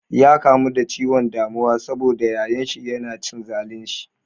Ya kamu da ciwon damuwa sabo da yayan shi yana cin zalun shi.